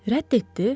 Rədd etdi?